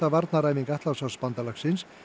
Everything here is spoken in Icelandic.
varnaræfing Atlantshafsbandalagsins